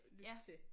Lytte til